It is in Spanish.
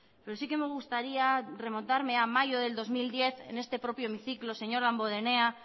pero sí que me gustaría remontarme a mayo del dos mil diez en este propio hemiciclo señor damborenea